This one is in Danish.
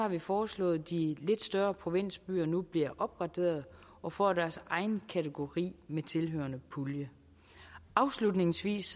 vi foreslået at de lidt større provinsbyer nu bliver opgraderet og får deres egen kategori med tilhørende pulje afslutningsvis